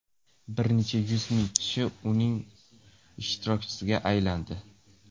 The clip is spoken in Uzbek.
Bir necha yuz ming kishi uning ishtirokchisiga aylandi.